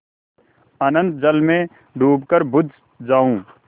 अनंत जल में डूबकर बुझ जाऊँ